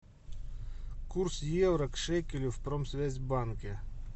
курс евро к шекелю в промсвязьбанке